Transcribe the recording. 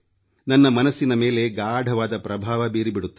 ನನ್ನ ಮನಸ್ಸಿನ ಮೇಲೆ ಗಾಢವಾದ ಪ್ರಭಾವ ಬೀರಿ ಬಿಡುತ್ತವೆ